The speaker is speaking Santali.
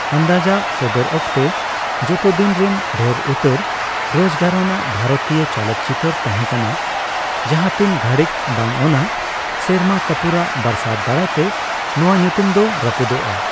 ᱟᱱᱫᱟᱡᱽ ᱟᱜ ᱥᱚᱫᱚᱨ ᱚᱠᱛᱮ, ᱡᱚᱛᱚᱫᱤᱱ ᱨᱮᱱ ᱰᱷᱮᱨ ᱩᱛᱟᱹᱨ ᱨᱳᱡᱽᱜᱟᱨᱟᱱ ᱵᱷᱟᱨᱚᱛᱤᱭᱟᱹ ᱪᱚᱞᱚᱛᱪᱤᱛᱟᱹᱨ ᱛᱟᱦᱮᱸᱠᱟᱱᱟ, ᱡᱟᱦᱟᱛᱤᱱ ᱜᱷᱟᱹᱲᱤᱡᱽ ᱵᱟᱝ ᱚᱱᱟᱹ ᱥᱮᱨᱢᱟ ᱠᱟᱯᱩᱨᱟᱜ ᱵᱟᱨᱟᱥᱟᱛ ᱫᱟᱨᱟᱭᱛᱮ ᱱᱚᱣᱟ ᱧᱩᱛᱩᱢ ᱫᱚ ᱨᱟᱯᱩᱫᱚᱜᱼᱟ ᱾